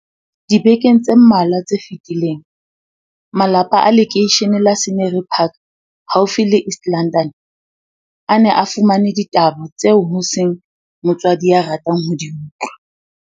Dibekeng tse mmalwa tse fetileng, malapa a lekeishene la Scenery Park haufi le East London, a ne a fumane ditaba tseo ho seng motswadi ya ratang ho di utlwa.